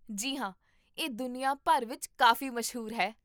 ਜੀ ਹਾਂ, ਇਹ ਦੁਨੀਆ ਭਰ ਵਿੱਚ ਕਾਫੀ ਮਸ਼ਹੂਰ ਹੈ